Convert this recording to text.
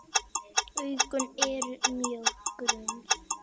Augun eru mjög grunn.